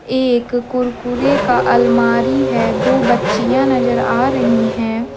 ये एक कुरकुरे का अलमारी है दो बच्चियां नजर आ रही हैं।